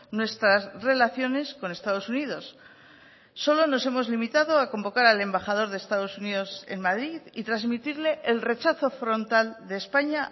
nuestras relaciones con estados unidos solo nos hemos limitado a convocar al embajador de estados unidos en madrid y transmitirle el rechazo frontal de españa